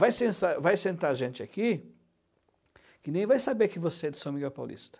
Vai sensar vai sentar gente aqui que nem vai saber que você é de São Miguel Paulista.